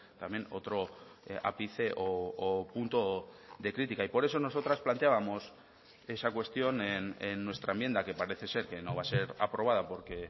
también otro ápice o punto de crítica y por eso nosotras planteábamos esa cuestión en nuestra enmienda que parece ser que no va a ser aprobada porque